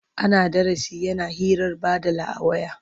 Ana darasi yana hirar baɗala a waya.